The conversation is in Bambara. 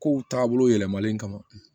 Kow taabolo yɛlɛmalen kama